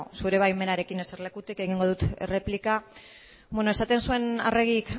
zure baimenarekin eserlekutik egingo dut erreplika beno esaten zuen arregi